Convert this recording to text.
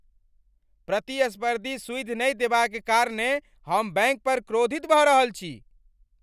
प्रतिस्पर्धी सुइद नहि देबाक कारणेँ हम बैँक पर क्रोधित भऽ रहल अछि।